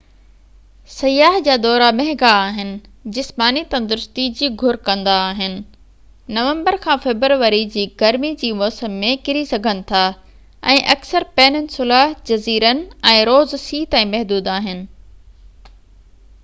سياح جا دورا مهنگا آهن جسماني تندرستي جي گهر ڪندا آهن نومبر-فيبروري جي گرمي جي موسم ۾ ڪري سگهن ٿا ۽ اڪثر پيننسولا جزيرن ۽ روز سي تائين محدود آهن